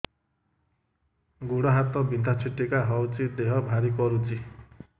ଗୁଡ଼ ହାତ ବିନ୍ଧା ଛିଟିକା ହଉଚି ଦେହ ଭାରି କରୁଚି